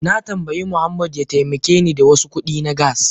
Na tambayi Muhammad ya taimake ni da wasu kudi na gas.